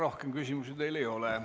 Rohkem küsimusi teile ei ole.